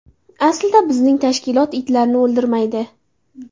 Aslida bizning tashkilot itlarni o‘ldirmaydi.